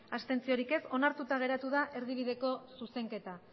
ez onartuta geratu da erdibideko zuzenketa